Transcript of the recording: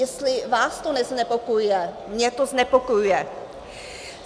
Jestli vás to neznepokojuje, mě to znepokojuje.